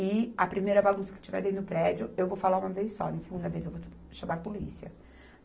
E a primeira bagunça que tiver dentro do prédio, eu vou falar uma vez só, na segunda vez eu vou chamar a polícia.